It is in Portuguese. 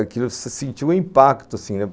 Aquilo se sentiu um impacto, assim, né?